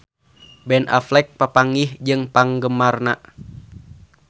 Ben Affleck papanggih jeung penggemarna